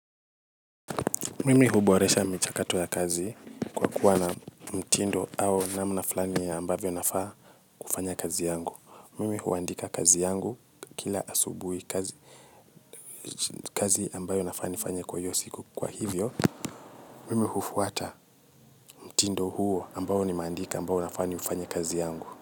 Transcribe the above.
Mimi huboresha michakato ya kazi kwa kuwa na mtindo au namna flani ambavyo nafaa kufanya kazi yangu. Mimi huandika kazi yangu kila asubuhi kazi ambayo nafaa nifanye kwa hiyo siku kwa hivyo. Mimi hufuata mtindo huo ambao nimeandika ambao nafaa nifanye kazi yangu.